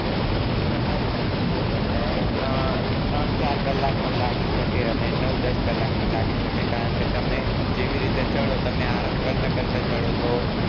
ઈ તમારી સ્પુરતી ઉપર જાય ત્રણ ચાર કલાક પણ લાગી શકે અને નવ દસ કલાક પણ લાગી શકે કારણ કે તમે જેવી રીતે ચડો તમે અરમ કરતા કરતા ચડો તો